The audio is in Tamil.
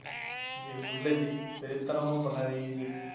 ஜி, புரியல ஜி. வெறித்தனமா பண்ணாதீங்க ஜி.